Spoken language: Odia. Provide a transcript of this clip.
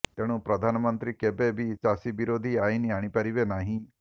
ତେଣୁ ପ୍ରଧାନମନ୍ତ୍ରୀ କେବେ ବି ଚାଷୀ ବିରୋଧୀ ଆଇନ ଆଣିପାରିବେ ନାହିଁ